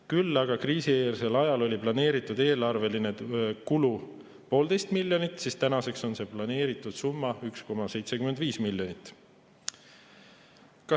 Küll aga oli kriisieelsel ajal planeeritud eelarveline kulu 1,5 miljonit, tänaseks on planeeritud summa 1,75 miljonit.